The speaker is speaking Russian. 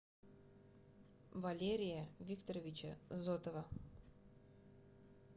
валерия викторовича зотова